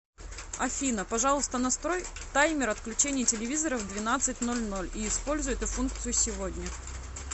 афина пожалуйста настрой таймер отключения телевизора в двенадцать ноль ноль и используй эту функцию сегодня